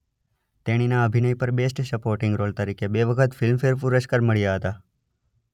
તેણીના અભિનય પર બેસ્ટ સપોર્ટિંગ રોલ તરીકે બે વખત ફિલ્મ ફેર પુરસ્કાર મળ્યાં હતાં.